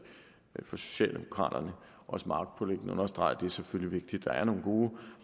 for socialdemokraterne også magtpåliggende at understrege at det selvfølgelig er der er nogle gode